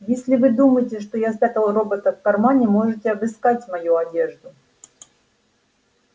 если вы думаете что я спрятал робота в кармане можете обыскать мою одежду